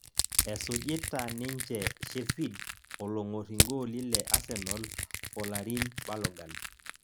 esujita ninje shefid olong'or igooli le asenal folarin balogan